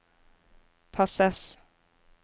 passes